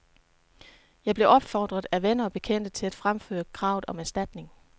Jeg blev opfordret af venner og bekendte til at fremføre kravet om erstatning.